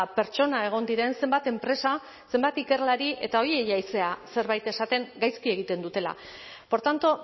pertsona egon diren zenbat enpresa zenbat ikerlari eta horiei ari zara zerbait esaten gaizki egiten dutela por tanto